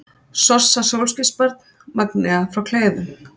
Sossa sólskinsbarn, Magnea frá Kleifum